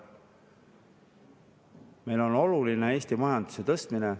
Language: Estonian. Meile on oluline Eesti majanduse tõstmine.